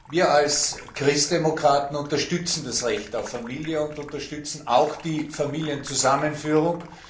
Wir als Christdemokraten unterstützen das Recht auf Familie und unterstützen auch die Familienzusammenführung.